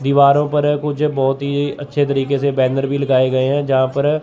दीवारों पर कुछ बहोत ही अच्छे तरीके से बैनर भी लगाए गए हैं जहां पर--